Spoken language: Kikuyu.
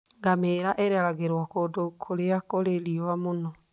Ngamia ireragĩrio kũndũ kũrĩa kũrĩ riũa mũno.